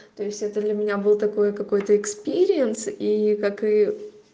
то есть это для меня был такой какой-то экспириенс и как и